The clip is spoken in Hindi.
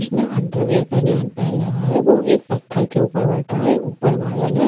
जिसने अंडरवेयर पनियान पहन रखा हैवो एक पत्थर के ऊपर बैठा हैऊपर बादल----